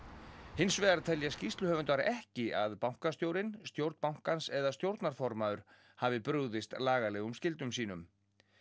hins vegar telja skýrsluhöfundar ekki að bankastjórinn stjórn bankans eða stjórnarformaður hafi brugðist lagalegum skyldum sínum